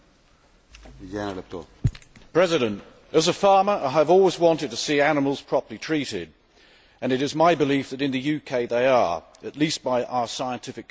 Mr President, as a farmer, I have always wanted to see animals properly treated and it is my belief that in the UK they are, at least by our scientific community.